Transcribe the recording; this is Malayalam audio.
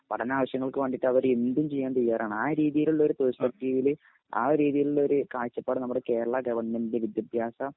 പഠനാവശ്യങ്ങൾക്ക് വേണ്ടിയിട്ട് അവർ എന്തും ചെയ്യാൻ തയ്യാറാണ്. ആ രീതിയിലുള്ള ഒരു പെർസ്പെക്റ്റീവലി ആ ഒരു രീതിയിലുള്ള ഒരു കാഴ്ചപ്പാട് നമ്മുടെ കേരള ഗവൺമെൻറിൻറെ വിദ്യാഭ്യാസ